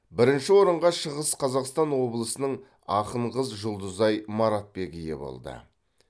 бірінші орынға шығыс қазақстан облысының ақын қыз жұлдызай маратбек ие болды